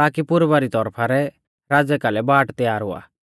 ताकि पुर्वा री तौरफा रै राज़ै कालै बाट तयार हुआ